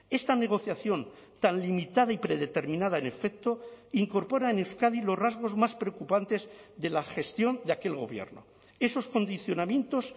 esta negociación tan limitada y predeterminada en efecto incorpora en euskadi los rasgos más preocupantes de la gestión de aquel gobierno esos condicionamientos